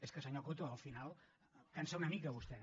és que senyor coto al final cansa una mica vostè